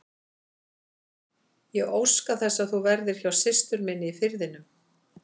Ég óska þess að þú verðir hjá systur minni í Firðinum.